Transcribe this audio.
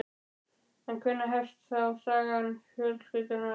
En hvenær hefst þá saga fjölskyldunnar?